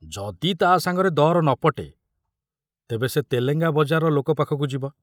ଯଦି ତା'ସାଙ୍ଗରେ ଦର ନ ପଟେ, ତେବେ ସେ ତେଲେଙ୍ଗା ବଜାରର ଲୋକ ପାଖକୁ ଯିବ!